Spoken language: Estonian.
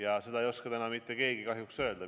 Aga seda ei oska täna mitte keegi kahjuks öelda.